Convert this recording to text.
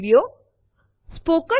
આ સેમ્પલ3 ના કન્ટેન્ટ છે